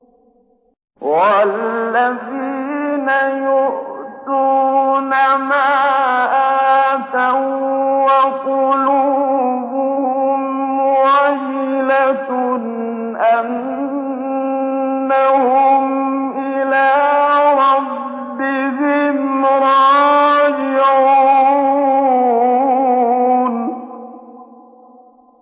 وَالَّذِينَ يُؤْتُونَ مَا آتَوا وَّقُلُوبُهُمْ وَجِلَةٌ أَنَّهُمْ إِلَىٰ رَبِّهِمْ رَاجِعُونَ